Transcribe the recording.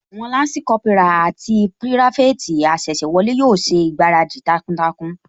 Àwọn Lansi Kópírà àti pirafeti asese wọlé yóò ṣègbáradì takuntakun